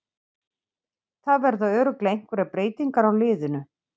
Það verða örugglega einhverjar breytingar á liðinu.